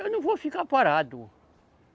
Eu não vou ficar parado.